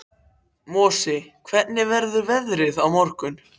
Mosi, hvernig verður veðrið á morgun?